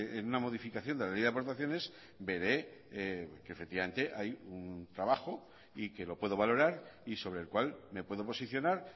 en una modificación de la ley de aportaciones veré que efectivamente hay un trabajo y que lo puedo valorar y sobre el cual me puedo posicionar